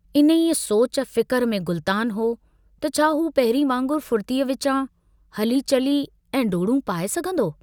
इन्हीअ ई सोच, फिकुर में गलतानु हो त छा हू पहिरीं वांगुरु फुर्तीअ विचां हली चली ऐं डोडूं पाए सघंदो?